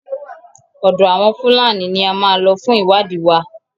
Ọ̀dọ àwọn Fúlàní ní a máa lọ fún ìwádìí wa.